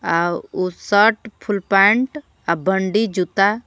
आ उ shirt full pant अ बंडी जूता--